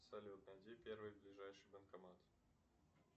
салют найди первый ближайший банкомат